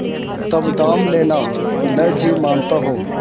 तब दाम लेना न जी मानता हो